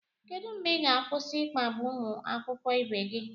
Kedụ mgbe ị ga-akwụsị ịkpagbu ụmụ akwụkwọ ibe gị